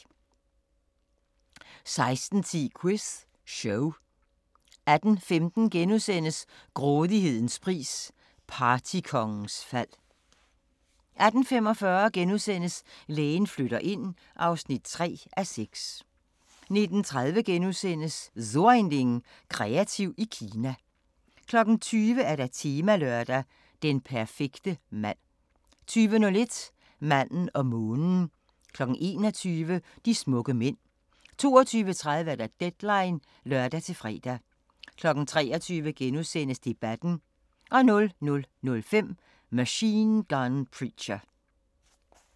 16:10: Quiz Show 18:15: Grådighedens pris – partykongens fald * 18:45: Lægen flytter ind (3:6)* 19:30: So ein Ding: Kreativ i Kina * 20:00: Temalørdag: Den perfekte mand 20:01: Manden og månen 21:00: De smukke mænd 22:30: Deadline (lør-fre) 23:00: Debatten * 00:05: Machine Gun Preacher